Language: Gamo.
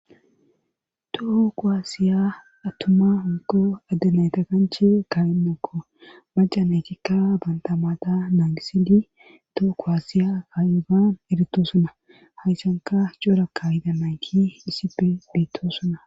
Tooko aasiya attumma honko addenayta kanche kaynokko macanaykikka baantamaata nangisidi tooko asiya kayifaan eritosuna hayssanka cora kahida mayki isipe biittosuna.